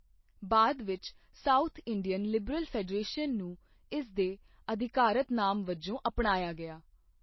ਬਾਅਦ ਵਿੱਚ, South Indian Liberal Federation ਨੂੰ ਇਸ ਦੇ ਅਧਿਕਾਰਤ ਨਾਮ ਵਜੋਂ ਅਪਣਾਇਆ ਗਿਆ।